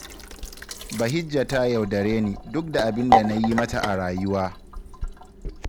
Bahijja ta yaudare ni, duk da abin da na yi mata a rayuwa.